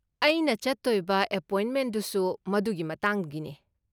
ꯑꯩꯅ ꯆꯠꯇꯣꯏꯕ ꯑꯦꯄꯣꯏꯟꯃꯦꯟꯗꯨꯁꯨ ꯃꯗꯨꯒꯤ ꯃꯇꯥꯡꯒꯤꯅꯦ꯫